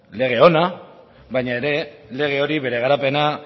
lege ona baina ere lege hori bere garapena